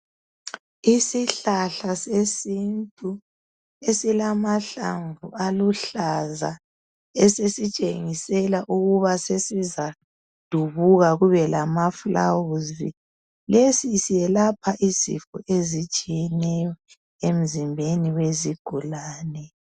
Isihlahla sesintu esilamahlamvu aluhlaza esesitshengisela ukuba sesizadubuka kube lamaflawuzi .Lesi siyelapha izifo ezitshiyeneyo emzimbeni wezigulane